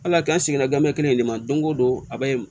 Ala k'an sigi n ga kelen de ma don o don a bɛ